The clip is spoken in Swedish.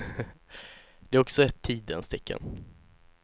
Det är också ett tidens tecken.